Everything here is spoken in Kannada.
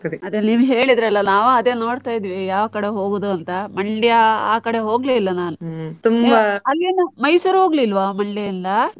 ಅದೇ ನೀವು ಹೇಳಿದ್ರಲ್ಲ ನಾವು ಅದೇ ನೋಡ್ತಾ ಇದ್ವಿ ಯಾವ್ ಕಡೆ ಹೋಗುದು ಅಂತ ಮಂಡ್ಯ ಆ ಕಡೆ ಹೋಗ್ಲೆ ಇಲ್ಲ ನಾನು. ಮೈಸೂರ್ ಹೋಗ್ಲಿಲ್ವಾ ಮಂಡ್ಯದಿಂದ ಆ?